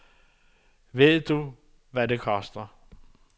Ved du, hvad det koster?